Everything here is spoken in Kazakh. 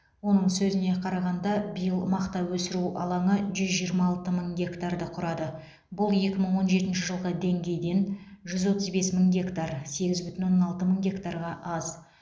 оның сөзіне қарағанда биыл мақта өсіру алаңы жүз жиырма алты мың гектарды құрады бұл екі мың он жетінші жылғы деңгейден жүз отыз бес мың гектар сегіз бүтін оннан алты мың гектарға аз